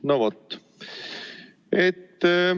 No vot.